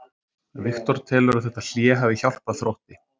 Viktor telur að þetta hlé hafi hjálpað Þrótti.